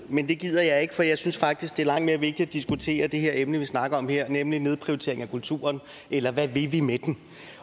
men det gider jeg ikke for jeg synes faktisk det er langt mere vigtigt at diskutere det her emne vi snakker om her nemlig en nedprioritering af kulturen eller hvad vi vil med den